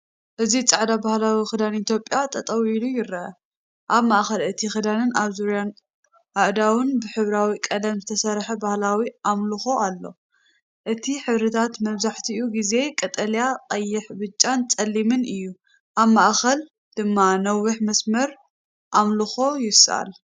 እዚ ጻዕዳ ባህላዊ ክዳን ኢትዮጵያ ጠጠው ኢሉ ይርአ። ኣብ ማእከል እቲ ክዳንን ኣብ ዙርያ ኣእዳውን ብሕብራዊ ቀለም ዝተሰርሐ ባህላዊ ኣምልኾ ኣሎ፣ እቲ ሕብርታት መብዛሕትኡ ግዜ ቀጠልያ፣ ቀይሕ፣ ብጫን ጸሊምን እዩ። ኣብ ማእከል ድማ ነዊሕ መስመር ኣምልኾ ይስኣል።